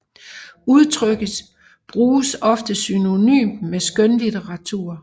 Udtrykkes bruges ofte synonymt med skønlitteratur